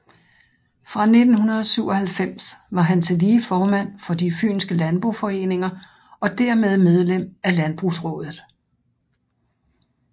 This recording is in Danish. Fra 1997 var han tillige formand for De fynske Landboforeninger og dermed medlem af Landbrugsraadet